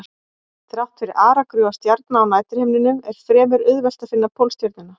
Þrátt fyrir aragrúa stjarna á næturhimninum er fremur auðvelt að finna Pólstjörnuna.